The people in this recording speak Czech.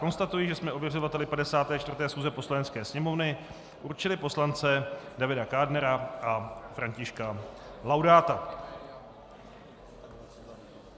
Konstatuji, že jsme ověřovateli 54. schůze Poslanecké sněmovny určili poslance Davida Kádnera a Františka Laudáta.